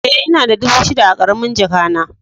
E, ina da dubu shida a karamin jaka na.